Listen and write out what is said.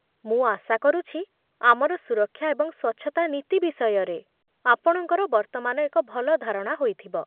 ମୁଁ ଆଶା କରୁଛି ଆମର ସୁରକ୍ଷା ଏବଂ ସ୍ୱଚ୍ଛତା ନୀତି ବିଷୟରେ ଆପଣଙ୍କର ବର୍ତ୍ତମାନ ଏକ ଭଲ ଧାରଣା ହୋଇଥିବ।